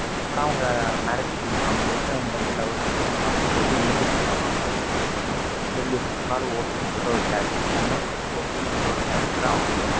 எப்படா அவங்க marriage பண்ணிப்பாங்க? எப்ப என்கிட்டே வந்து love அ சொல்லுவாங்க அப்படின்னு சொல்லிட்டு ஏங்கிட்டு இருந்தவங்க அவங்க. ஹிட்லர் எது சொன்னாலும் okay னு சொல்ற ஒரு character கண்ண மூடிட்டு okay னு சொல்ற ஒரு character தான் அவங்க.